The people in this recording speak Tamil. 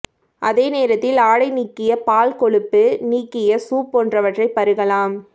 அதே நேரத்தில் ஆடை நீக்கிய பால் கொழுப்பு நீக்கிய சூப் போன்றவற்றை பருகலாம்